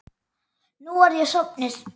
Nú er ég sofnuð.